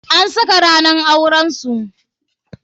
An saka ranan auren su.